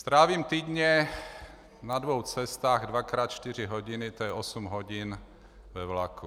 Strávím týdně na dvou cestách dvakrát čtyři hodiny, to je osm hodin ve vlaku.